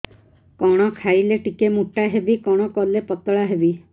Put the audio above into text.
କଣ ଖାଇଲେ ଟିକେ ମୁଟା ହେବି କଣ କଲେ ପତଳା ହେବି